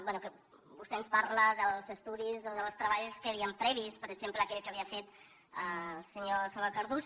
bé vostè ens parla dels estudis o dels treballs que hi havien previs per exemple aquell que havia fet el senyor salvador cardús